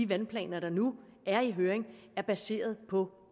vandplaner der nu er i høring er baseret på